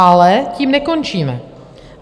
Ale tím nekončíme.